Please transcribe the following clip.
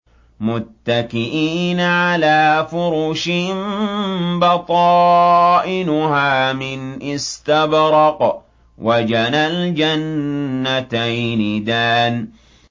مُتَّكِئِينَ عَلَىٰ فُرُشٍ بَطَائِنُهَا مِنْ إِسْتَبْرَقٍ ۚ وَجَنَى الْجَنَّتَيْنِ دَانٍ